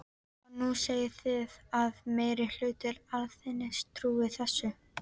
Og nú segið þið að meiri hluti Alþingis trúi þessu.